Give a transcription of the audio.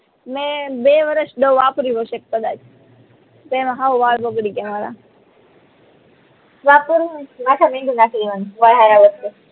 મે બે વરસ દવા વાપરી હશે કદાચ તે હાવ વાળ બગડી ગયા મારા